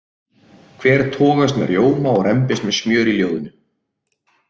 Hver togast með rjóma og rembist með smjör í ljóðinu?